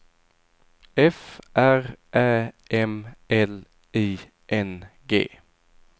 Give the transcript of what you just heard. F R Ä M L I N G